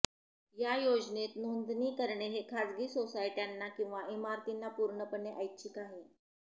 या योजनेत नोंदणी करणे हे खाजगी सोसायट्यांना किंवा इमारतींना पूर्णपणे ऐच्छिक आहे